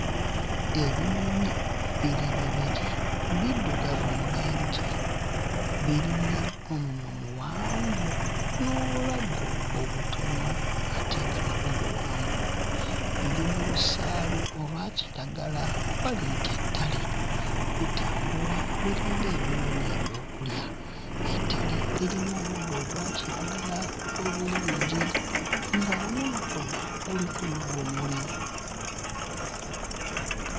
Ebinyonyi biri bibiri biddugavu mu langi birina omumwa muwanvu n'obulago obutono ate nga nabwo buwanvu biri mu lusaalu olwa kiragala oba liyite ettale bitambula biringa ebinoonya ebyokulya. Ettale lirimu omuddo ogwa kiragala obulungi nga omuddo ogwo guliko n'obumuli.